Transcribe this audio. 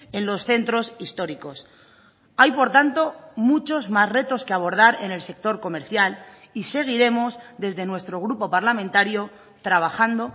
en los centros históricos hay por tanto muchos más retos que abordar en el sector comercial y seguiremos desde nuestro grupo parlamentario trabajando